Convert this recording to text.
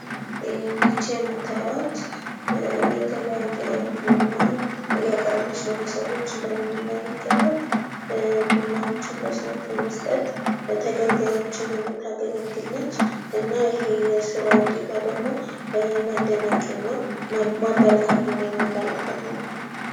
ይች የምታዩአት የተለያየ ቡና ለሰዎች እያቀረበች ነው እንደምንመለከተው ቡናዎችን ለሰዎች በመስጠት ተገልጋዮችን የምታገለግል ናት። ይና ይሄ የስራ ውጤቷ ደግሞ መደነቅና ማበረታታት የሚመለከት ነው።